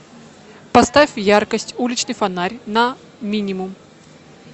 поставь яркость уличный фонарь на минимум